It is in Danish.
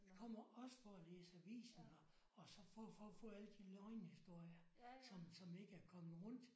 Vi kommer også for at læse avisen her og så for for for at få alle de løgnehistorier som som ikke er kommet rundt